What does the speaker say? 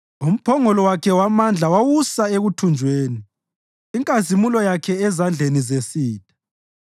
Umphongolo wakhe wamandla wawusa ekuthunjweni, inkazimulo yakhe ezandleni zesitha.